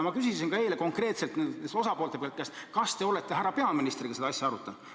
Ma küsisin eile ka konkreetselt nende osapoolte käest, kas te olete härra peaministriga seda asja arutanud.